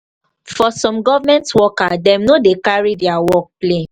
for some government worker dem no dey carry their work play